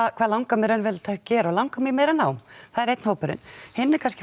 hvað langar mig raunverulega til gera og langar mig í meira nám það er einn hópurinn hinn er kannski